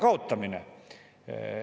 Valitsus on kuulutanud oma rahva vastu maksusõja.